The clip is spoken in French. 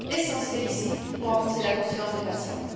Elle est essentielle ici pour renforcer la confiance des patients.